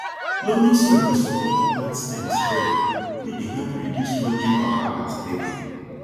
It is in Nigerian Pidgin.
loamy soil dey support plant stems well wey dey help reduce lodging wahala steady